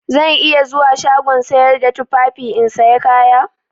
Zan iya zuwa shagon sayar da tufafi in saya kaya?